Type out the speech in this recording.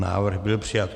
Návrh byl přijat.